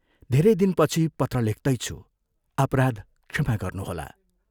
धेरै दिनपछि पत्र लेख्तैछु अपराध क्षमा गर्नुहोला।